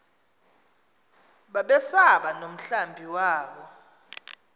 babesaba nomhlambi wabo